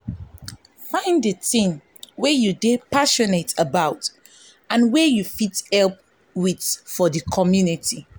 find di thing wey you dey passionate about and wey you fit help with for di community